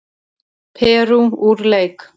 Perú úr leik